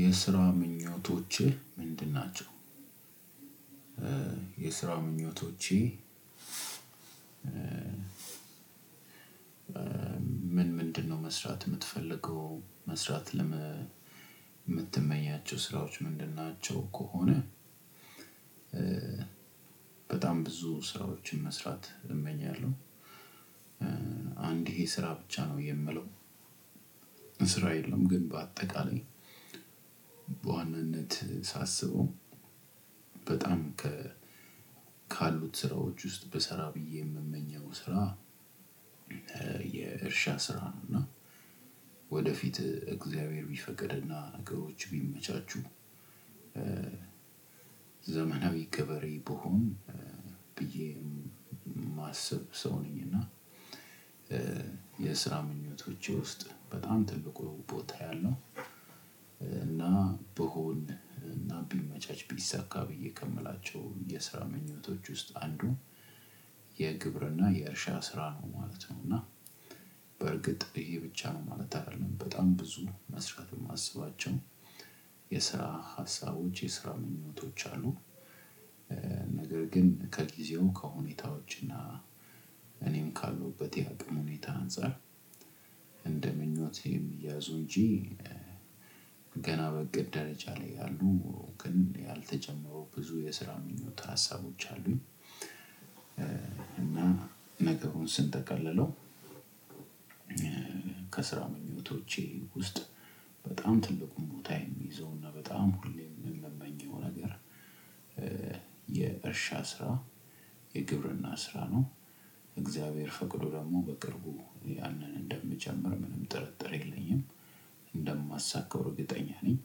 የስራ ምኞቶችህ ምንድን ናቸው? ምኞቶቼ ምን ምንድነው መስራት ምትፈልገው? መስራት ለመ ምትመኛቸው ስራዎች ምንድን ናቸው ከሆነ። በጣም ብዙ ስራዎችን መስራት እመኛለሁ። አንድ ይሄ ስራ ብቻ ነው የምለው። ስራ የለም ግን በአጠቃላይ በዋናነት ሳስበው። በጣም ከ ካሉት ስራዎች ውስጥ ብሰራ ብዬ የምመኘው ስራ። የእርሻ ስራ ነው። እና ወደፊት እግዚአብሔር ቢፈቅድና ነገሮች ቢመቻቹ። ዘመናዊ ገበሬ ብሆን ብዬ ማስብ ሰው ነኝ እና። የስራ ምኞቶቼ ውስጥ በጣም ትልቁ ቦታ ያለው። እና ብሆን እና ቢመቻች ቢሳካ ብዬ ከምላቸው የስራ ምኞቶች ውስጥ አንዱ የግብርና የእርሻ ስራ ነው ማለት ነው። እና በርግጥ ይሄ ብቻ ነው ማለት አደለም በጣም ብዙ መስራት ማስባቸው የስራ ሀሳቦች የስራ ምኞቶች አሉ። ነገር ግን ከጊዜው ከሁኔታዎች እና እኔም ካለሁበት የአቅም ሁኔታ አንፃር። እንደ ምኞት የሚያዙ እንጂ። ገና በእቅድ ደረጃ ላይ ያሉ ግን ያልተጨመሩ ብዙ የስራ ምኞት ሀሳቦች አሉኝ። እና ነገሩን ስንጠቅልለው። ከስራ ምኞቶቼ ውስጥ በጣም ትልቁን ቦታ የሚይዘውና በጣም ሁሌም የምመኘው ነገር የእርሻ ስራ የግብርና ስራ ነው። እግዚአብሔር ፈቅዶ ደግሞ በቅርቡ ያንን እንደምጀምር ምንም ጥርጥር የለኝም። እንደማሳካው እርግጠኛ ነኝ።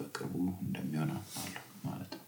በቅርቡ እንደሚሆን አምናለሁ ማለት ነው።